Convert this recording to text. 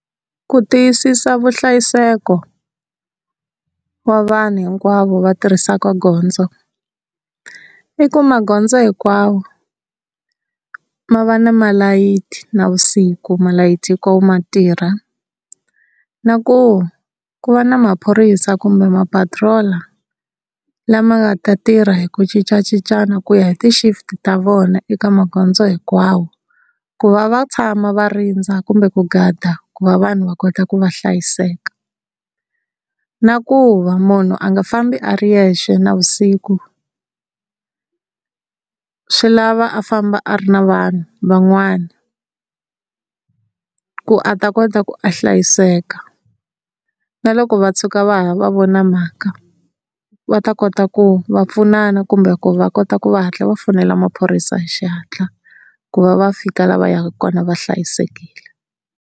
Ku tiyisisa vunhlayiseko wa vanhu hinkwavo va tirhisaka gondzo i ku magondzo hinkwawo ma va na malayithi navusiku malayithi hikwawo ma tirha na ku ku va na maphorisa kumbe mapatirola lama nga ta tirha hi ku cincacincana ku ya hi ti-shift ta vona eka magondzo hinkwawo ku va va tshama va rindza kumbe ku gada ku va vanhu va kota ku va hlayiseka, na ku va munhu a nga fambi a ri yexe navusiku, swi lava a famba a ri na vanhu van'wana ku a ta kota ku a hlayiseka. Na loko va tshuka va ya va vona mhaka va ta kota ku va pfunana kumbe ku va kota ku va hatla va fonela maphorisa hi xihatla ku va va fika la va yaka kona va hlayisekile.